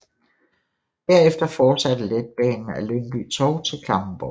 Derefter fortsætter letbanen ad Lyngby Torv til Klampenborgvej